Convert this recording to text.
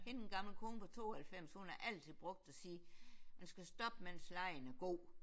Hende den gamle kone på 92 hun har altid brugt at sige man skal stoppe mens legen er god